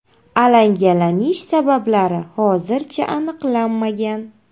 Alangalanish sabablari hozircha aniqlanmagan.